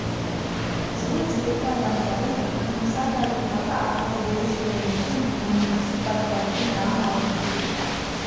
жылы жүректі адамдары мен тұмса табиғаты арқылы ерекшеленетін өңірді сипаттайтын драмалық фильм